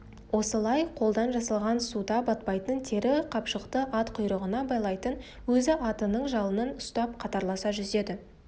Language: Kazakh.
осылай қолдан жасалған суда батпайтын тері қапшықты ат құйрығына байлайтын өзі атының жалынан ұстап қатарласа жүзеді